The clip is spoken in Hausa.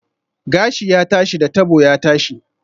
Gashi ya tashi, da tabo ya tashi